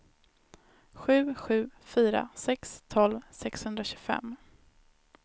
sju sju fyra sex tolv sexhundratjugofem